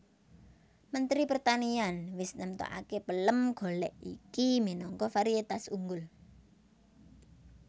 Mentri Pertanian wis nemtokaké pelem golèk iki minangka varietas unggul